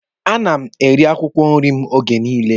A na-eri akwụkwọ nrị m oge niile.